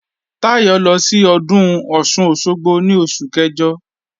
Táyọ̀ lọ sí Ọdún Ọ̀sun-Òsogbo ní oṣù kẹjọ